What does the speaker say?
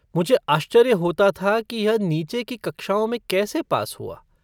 मुझे आश्चर्य होता था कि यह नीचे की कक्षाओं में कैसे पास हुआ।